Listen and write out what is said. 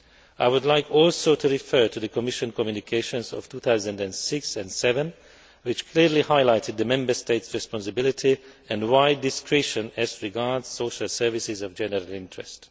I would also like to refer to the Commission communications of 2006 and 2007, which clearly highlighted the Member States' responsibility and wide discretion as regards social services of general interest.